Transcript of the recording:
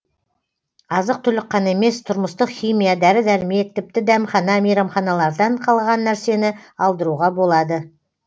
азық түлік қана емес тұрмыстық химия дәрі дәрмек тіпті дәмхана мейрамханалардан қалған нәрсені алдыруға болады